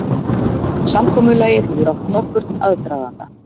Samkomulagið hefur átt nokkurn aðdraganda